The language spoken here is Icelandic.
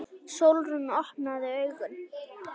Sólrún, opnaðu augun!